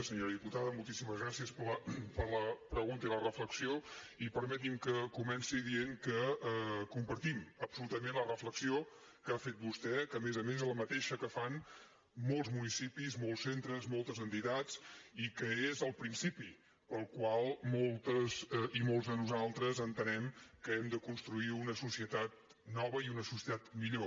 senyora diputada moltíssimes gràcies per la pregunta i la reflexió i permeti’m que comenci dient que compartim absolutament la reflexió que ha fet vostè que a més a més és la mateixa que fan molts municipis molts centres moltes entitats i que és el principi pel qual moltes i molts de nosaltres entenem que hem de construir una societat nova i una societat millor